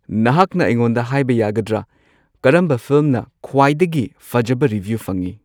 ꯅꯍꯥꯛꯅ ꯑꯩꯉꯣꯟꯗ ꯍꯥꯏꯕ ꯌꯥꯒꯗ꯭ꯔ ꯀꯔꯝꯕ ꯐꯤꯜꯝꯅ ꯈ꯭ꯋꯥꯏꯗꯒꯤ ꯐꯖꯕ ꯔꯤꯚ꯭ꯌꯨ ꯐꯪꯏ